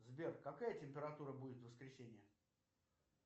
сбер какая температура будет в воскресенье